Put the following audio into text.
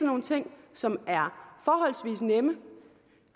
nogle ting som er forholdsvis nemme